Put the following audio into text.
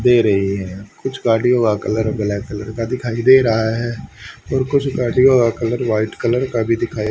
दे रही है कुछ गाड़ीओ का कलर ब्लैक कलर का दिखाई दे रहा है और कुछ गाड़ीओ का वाइट कलर का भी दिखाई --